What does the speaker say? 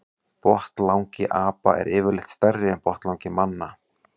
Botnlangi apa er yfirleitt stærri en botnlangi manna.